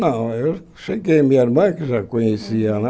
Não, eu cheguei, minha irmã é que já conhecia, né?